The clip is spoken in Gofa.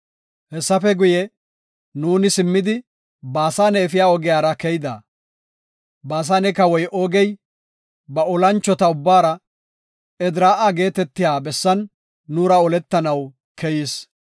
Hessafe guye, nuuni simmidi Baasane efiya ogiyara keyida. Baasane kawoy Oogey, ba olanchota ubbaara Edraa7a geetetiya bessan nuura oletanaw keyis.